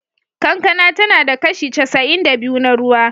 Kankana tana da kashi casa'in da biyu na ruwa.